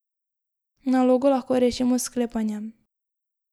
Nalogo lahko rešimo s sklepanjem.